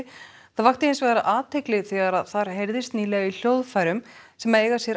það vakti hins vegar athygli þegar þar heyrðist nýlega í hljóðfærum sem eiga sér